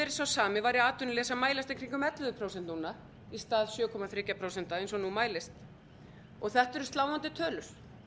sá sami væri atvinnuleysi að mælast í kringum ellefu prósent núna í stað sjö komma þrjú prósent eins og nú mælist þetta eru sláandi tölur